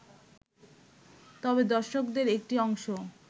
তবে দর্শকদের একটি অংশ